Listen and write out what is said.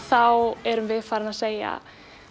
þá erum við farin að segja